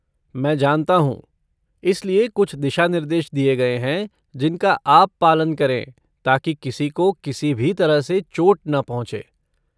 मैं जानता हूँ, इसलिए कुछ दिशानिर्देश दिए गए हैं जिनका आप पालन करें ताकि किसी को किसी भी तरह से चोट न पहुँचे!